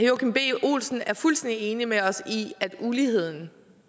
joachim b olsen er fuldstændig enig med os i at uligheden